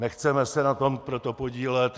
Nechceme se na tom proto podílet.